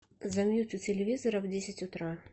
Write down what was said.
замьють у телевизора в десять утра